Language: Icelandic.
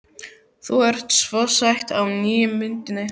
Þú ert svo sæt á nýju myndinni.